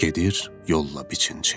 Gedir yolla biçinci.